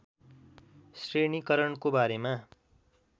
श्रेणीकरणको बारेमा